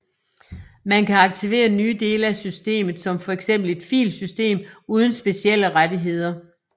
Man kan aktivere nye dele af systemet som for eksempel et filsystem uden specielle rettigheder